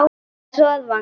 Hann hress að vanda.